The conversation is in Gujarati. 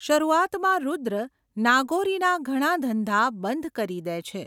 શરૂઆતમાં રુદ્ર નાગોરીના ઘણા ધંધા બંધ કરી દે છે.